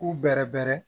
K'u bɛrɛbɛrɛ